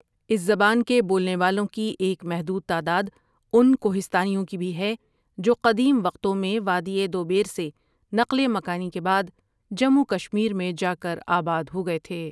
اس زبان کے بولنے والوں کی ایک محدود تعداد ان کوہستانیوں کی بھی ہے جو قدیم وقتوں میں وادی دوبیر سے نقل مکانی کے بعد جموں کشمیر میں جا کر آباد ہوگئے تھے۔